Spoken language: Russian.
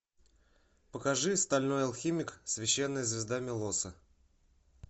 покажи стальной алхимик священная звезда милоса